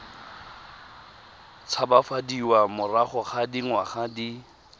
tshabafadiwa morago ga dingwaga di